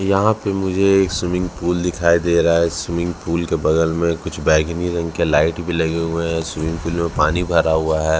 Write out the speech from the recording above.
यहाँ पे मुझे एक स्विमिंग पूल दिखाई दे रहा है स्विमिंग पूल के बगल में कुछ बैंगनी रंग के लाइट भी ले हुए है स्विमिंग पूल में पानी भरा हुआ है।